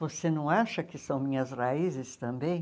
Você não acha que são minhas raízes também?